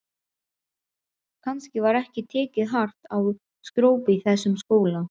Kannski var ekki tekið hart á skrópi í þessum skóla.